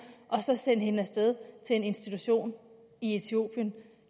og så sende hende af sted til en institution i etiopien